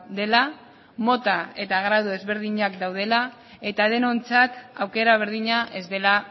dela mota eta gradu desberdinak daudela eta denontzat aukera berdina ez dela